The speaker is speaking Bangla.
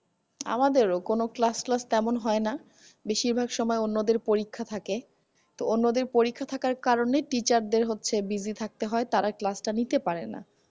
আমাদেরও কোনো class তেমন হয়না বেশিরভাগ সময় অন্যদের পরীক্ষা থাকে তো অন্যদের পরীক্ষা থাকার কারণে teacher দের হচ্ছে busy থাকতে হয় class টা নিয়ে পারেনা